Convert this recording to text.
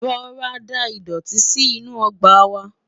rọra dá idọti sínú ọgbà wa